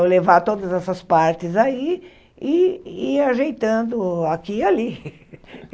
Vou levar todas essas partes aí e ir ajeitando aqui e ali.